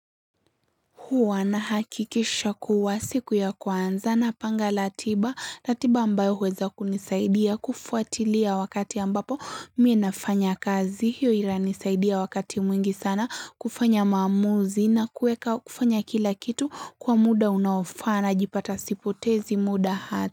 Huwa nahakikisha kuwa siku ya kwanza na panga latiba latiba ambayo huweza kunisaidia kufuatilia wakati ambapo, mie nafanya kazi, hiyo iranisaidia wakati mwingi sana, kufanya maamuzi na kuweka kufanya kila kitu, kwa muda unaofaa najipata sipotezi muda ha.